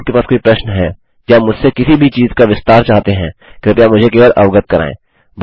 यदि आपके पास कोई प्रश्न है या मुझसे किसी भी चीज़ का विस्तार चाहते हैं कृपया मुझे केवल अवगत कराएँ